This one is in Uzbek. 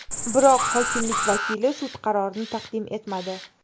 Biroq hokimlik vakili sud qarorini taqdim etmadi.